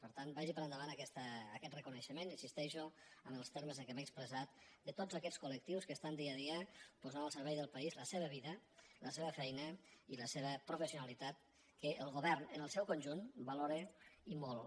per tant vagi per endavant aquest re·coneixement hi insisteixo en els termes en què m’he expressat de tots aquests col·al servei del país la seva vida la seva feina i la seva professionalitat que el govern en el seu conjunt va·lora i molt